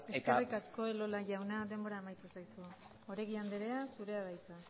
eta eskerrik asko elola jauna denbora amaitu zaizu oregi anderea zurea da hitza